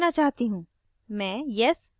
मैं यह विवरण नहीं भरना चाहती हूँ